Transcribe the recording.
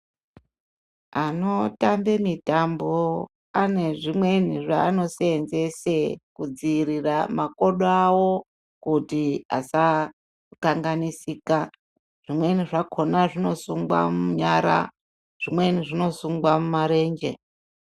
Anotambe mitambo anezvimweni zvaanosensese kudziirira makodo awo kuti asakanganisika zvimweni zvakona zvinosungwa munyara zvimweni zvinosungwa mumarenje.